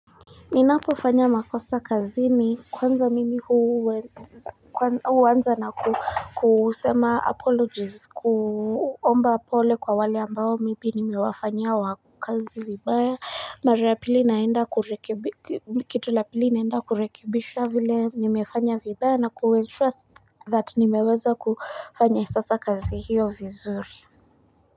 Ninapo fanya makosa kazi ni kwanza mimi huwanza na ku kusema apologies kuomba pole kwa wale ambao mimi nimiwafanyiya wa kazi vibaya. Maja ya pili naenda kurekebisha kitu la pili naenda kurekebisha vile nimefanya vibaya na ku make sure that nimeweza kufanya sasa kazi hiyo vizuri.